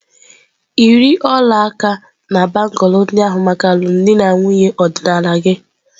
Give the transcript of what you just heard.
Yiri ọla aka na bangulu ndị ahụ maka alụmdi na nwunye ọdịnala gị!.